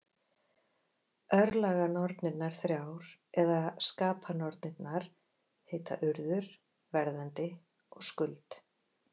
Örlaganornirnar þrjár, eða skapanornirnar, heita Urður, Verðandi og Skuld.